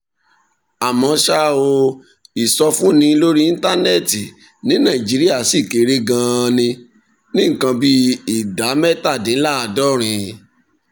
àmọ́ ṣá o ìsọfúnni lórí íńtánẹ́ẹ̀tì ní nàìjíríà ṣì kéré gan-an ní nǹkan bí ìdá mẹ́tàdínláàádọ́rin